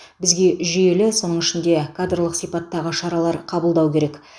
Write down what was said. бізге жүйелі соның ішінде кадрлық сипаттағы шаралар қабылдау керек